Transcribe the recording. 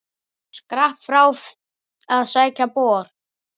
Skrapp frá að sækja bor.